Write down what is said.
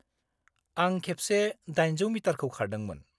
आं खेबसे 800 मिटारखौ खारदोंमोन।